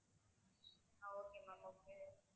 ah okay ma'am okay